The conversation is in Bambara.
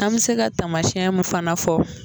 An bɛ se ka tamasiyɛn min fana fɔ.